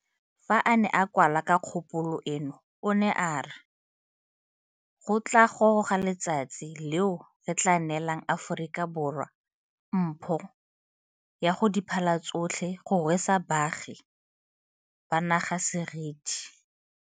Fa a ne a kwala ka kgopolo eno o ne a re, go tla goroga letsatsi leo re tla neelang Aforika Borwa mpho ya go di phala tsotlhe go rwesa baagi ba naga seriti.